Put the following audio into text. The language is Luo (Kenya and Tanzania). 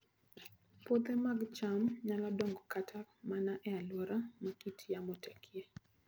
Puothe mag cham nyalo dongo kata mana e alwora ma kit yamo tekie